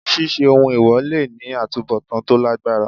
Ṣíṣe ohun èwọ̀ le ní àtubọ̀tán tó lágbára.